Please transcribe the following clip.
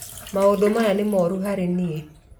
Maũndũ maya nĩ maruo harĩ niĩ.